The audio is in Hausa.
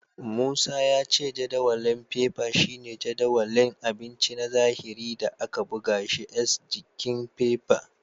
Musa ya ce jadawalin fefa shine jadawalin abinci na zahiri da aka buga shi s jikin fefa.